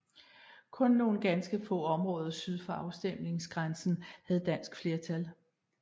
Kun nogle ganske små områder syd for afstemningsgrænsen havde dansk flertal